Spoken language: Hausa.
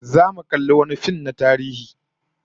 Zamu kalli wani fim na tarihi